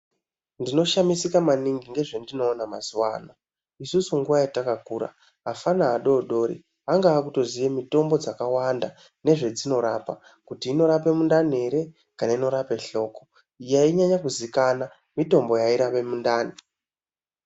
Ndinoshamisika maningi nezvendinoona mazuwano isusu nguwa yetakakura afana adodori anga akutoziye mitombo dzakawanda nezvedzinorapa kuti inorapa mundani ere kana inorape hloko. Yainyanya kuzikanwa mitombo yairape mundani.